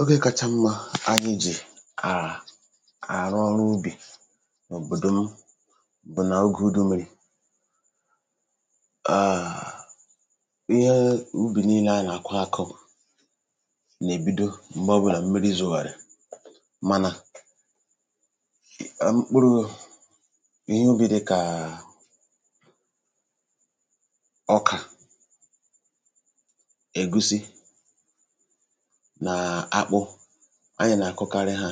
ogė kacha mmȧ anyị jì à àrụ ọrụ ubì òbòdò m bụ̀ na ogè udu mmiri ààà ihe ubì niilė á nàkwà akụụ nèbido m̀gbè ọbùrù à mmiri zùghàrì manȧ mkpụrụ ihe ubì dị̇kà ọkà ègusi anyị̀ nà-àkụkarị hȧ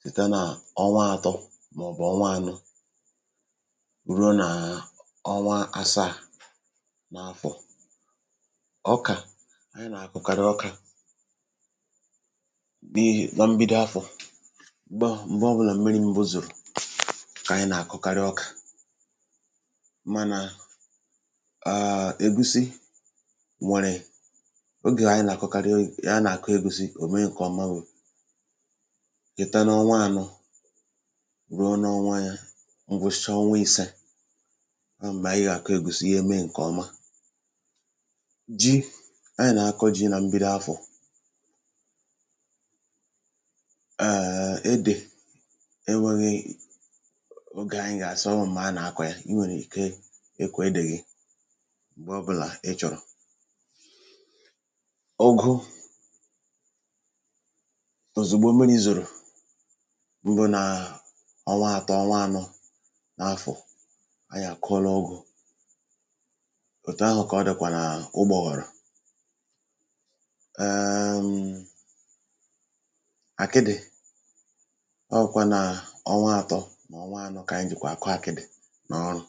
site nà ọnwa ȧtọ̇ mọ̀bụ̀ ọnwa ȧnọ̇ rùo nàà ọnwa asaa n’afọ̀ ọkà anyị̀ nà-àkụkarị ọkà bịa nọ m̀bido afọ̀ m̀gbè ọ̀bụlà mmiri̇ mbozùrù kà anyị̀ nà-àkụkarị ọkà mànà egusi m̀wèrè ụ̀mụ̀ ya nà-àkọ egwùsi ò mee ǹkèọma wụ̀ ị̀ta n’ọnwa ànọ ruo n’ọnwa ya ngwụsịcha ọnwa ìsė ahụ̀ m̀gbè ànyị gà-àkọ ègwùsi ihe mee ǹkèọma ji anyị̀ nà-akọ ji nà mbido afọ̀ èèè edì enwėghi ogė anyị̇ àsọvọ m̀mà a nà-àkọ ya i nwèrè ike ekwė edèghì m̀gbè ọbụ̇là ịchọ̀rọ̀ tòzìgbu omen i zòrò m̀bụ nà ọnwa ȧtọ̇ ọnwa ȧnọ̇ n’afọ̀ a yà kụọla ọgụ̇ òtù ahụ̀ kà ọ dị̀kwà n’ụgbọ̀ghọ̀rọ̀ èèèm àkịdị̀ ọ bụ̀kwà nà ọnwa ȧtọ̇ nà ọnwa ȧnọ̇ kà ànyị jìkwà àkụ àkịdị̀ n’ọrụ̀